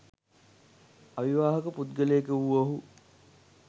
අවිවාහක පුද්ගලයෙකු වූ ඔහු